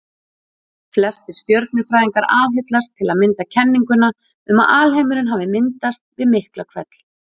Flestir stjörnufræðingar aðhyllast til að mynda kenninguna um að alheimurinn hafi myndast við Miklahvell.